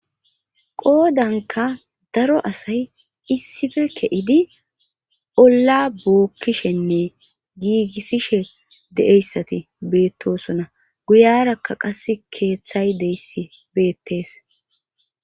qoodanka daro asay issife ke7idi olla bookkishenne giigissishe de7eyssati beettosona guyarakka qas keeththay deyss beettees